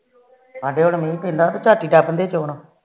ਸਾਡੇ ਮੀਹ ਪੈਂਦਾ ਤੇ ਝੱਟ ਹੀ ਲੱਗ ਪੈਂਦੇ ਚੋਣ